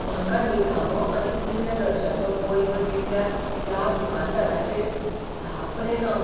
म्हाका निकामो आनी उण्या दर्ज्याचो बल्ब दिल्ल्या त्या दुकानदाराचेर तापलें हांव.